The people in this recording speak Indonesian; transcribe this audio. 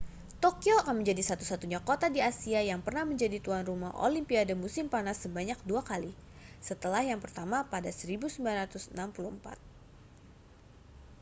tokyo akan menjadi satu-satunya kota di asia yang pernah menjadi tuan rumah olimpiade musim panas sebanyak dua kali setelah yang pertama pada 1964